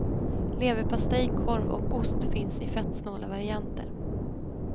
Leverpastej, korv och ost finns i fettsnåla varienter.